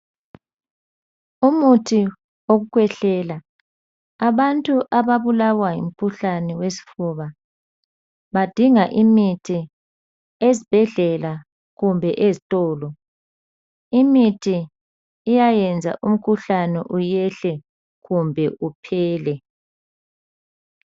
Umuthi wokukhwehlela. Abantu ababulawa yimkhuhlane wesifuba badinga imithi esbhedlela kumbe eztolo. Imithi iyayenza umkhuhlane uyehle kumbe uphele.